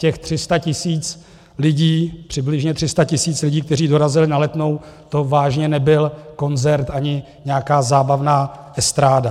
Těch 300 tisíc lidí, přibližně 300 tisíc lidí, kteří dorazili na Letnou, to vážně nebyl koncert ani nějaká zábavná estráda.